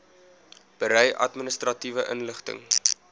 berei administratiewe inligting